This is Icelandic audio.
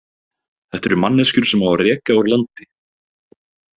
Þetta eru manneskjur sem á að reka úr landi.